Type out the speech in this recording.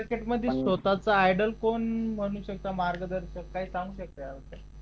share market मध्ये स्वतःचा idol कोण बनू शकत मार्गदर्शक काही सांगू शकता का तुम्ही